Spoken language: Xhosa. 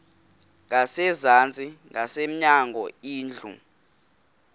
ngasezantsi ngasemnyango indlu